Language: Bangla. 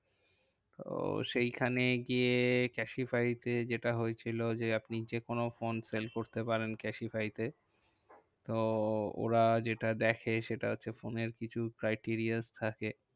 উহ সেইখানেই গিয়ে ক্যাসিফাই তে যেটা হয়েছিল যে, আপনি যেকোনো ফোন sell করতে পারেন ক্যাসিফাই তে। তো ওরা যেটা দেখে, সেটা হচ্ছে ফোনের কিছু criteria থাকে।